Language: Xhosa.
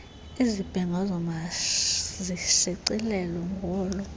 izibhengezo mazishicilelwe ngolo